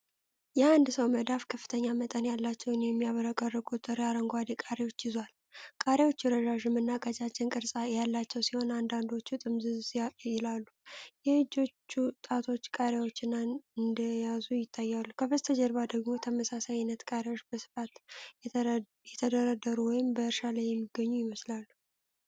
የአንድ ሰው መዳፍ ከፍተኛ መጠን ያላቸውን የሚያብረቀርቁ ጥሬ አረንጓዴ ቃሪያዎች ይዟል። ቃሪያዎቹ ረዣዥም እና ቀጫጭን ቅርጽ ያላቸው ሲሆን፣ አንዳንዶቹም ጥምዝዝም ይላሉ። የእጆቹ ጣቶች ቃሪያዎቹን እንደያዙ ይታያል። ከበስተጀርባው ደግሞ ተመሳሳይ ዓይነት ቃሪያዎች በስፋት የተደረደሩ ወይም በእርሻ ላይ የሚገኙ ይመስላሉ።